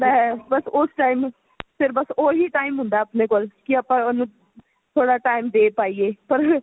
ਹੈ ਬੱਸ ਉਸ time ਫ਼ਿਰ ਬੱਸ ਓਹੀ time ਹੁੰਦਾ ਹੈ ਆਪਣੇ ਕੋਲ ਕੀ ਆਪਾ ਥੋੜਾ time ਦੇ ਪਾਈਏ ਪਰ